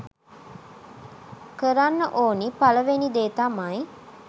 කරන්න ඕනි පළවෙනි දේ තමයි